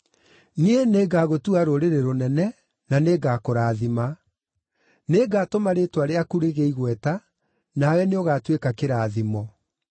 “Niĩ nĩngagũtua rũrĩrĩ rũnene, na nĩngakũrathima; nĩngatũma rĩĩtwa rĩaku rĩgĩe igweta, nawe nĩũgatuĩka kĩrathimo.